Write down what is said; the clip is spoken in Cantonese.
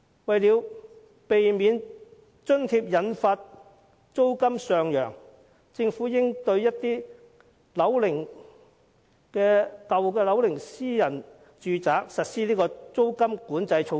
為了避免這項津貼會引發租金上揚，政府應對有一定樓齡的私人住宅實施租金管制措施。